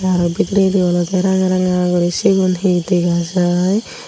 araw bidiredi olode ranga ranga guri sigun hi dega jai.